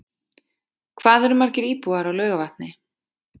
Hvað eru margir íbúar á Laugarvatni?